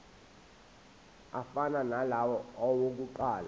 afana nalawo awokuqala